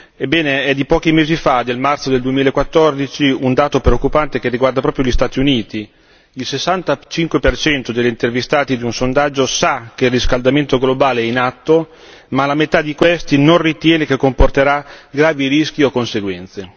Ebbene, è di pochi mesi fa, del marzo del 2014, un dato preoccupante che riguarda proprio gli Stati Uniti il 65 per cento degli intervistati di un sondaggio sa che il riscaldamento globale è in atto, ma la metà di essi non ritiene che comporterà gravi rischi o conseguenze.